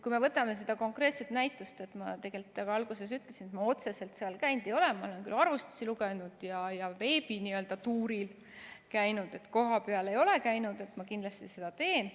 Kui me võtame selle konkreetse näituse, siis ma tegelikult ka alguses ütlesin, et ma otseselt seal käinud ei ole, ma olen küll arvustusi lugenud ja n‑ö veebituuril käinud, aga kohapeal ei ole käinud, kuid ma kindlasti seda teen.